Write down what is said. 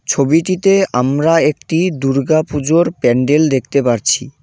ছবিটিতে আমরা একটি দুর্গাপুজোর প্যান্ডেল দেখতে পারছি।